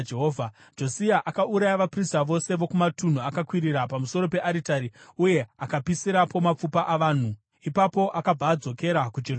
Josia akauraya vaprista vose vokumatunhu akakwirira pamusoro pearitari uye akapisirapo mapfupa avanhu. Ipapo akabva adzokera kuJerusarema.